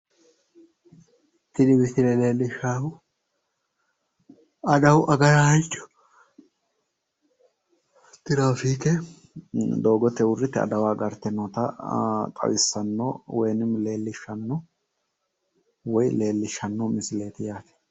Tini misile leellishshaahu adawu agaraancho tiraafiike doogete uurrite adawa agarte noota xawissanno woyi leellishshanno misileeti yaate.